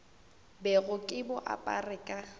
bego ke bo apere ka